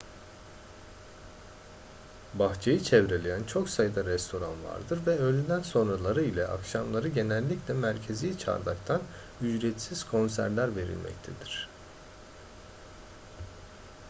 bahçeyi çevreleyen çok sayıda restoran vardır ve öğleden sonraları ile akşamları genellikle merkezi çardaktan ücretsiz konserler verilmektedir